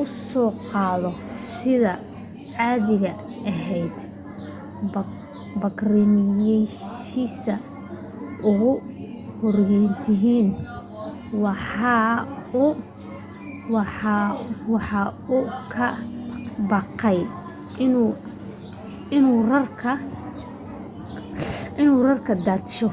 u soo qaado sidii caadiga ahayd bacrimiyihiisii ugu horrayntiina waxa uu ka baqay inuu rarka daadsho